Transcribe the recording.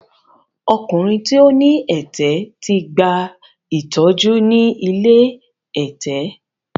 Ọkùnrin tí ó ní ẹ̀tẹ̀ ti gba ìtọ́jú ni ilé ẹ̀tẹ̀.